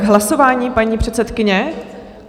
K hlasování paní předsedkyně?